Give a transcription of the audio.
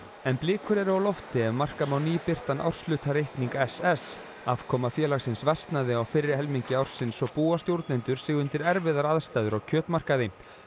en blikur eru á lofti ef marka má nýbirtan árshlutareikning s s afkoma félagsins versnaði á fyrri helmingi ársins og búa stjórnendur sig undir erfiðar aðstæður á kjötmarkaði